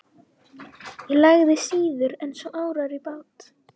Ég lagði síður en svo árar í bát.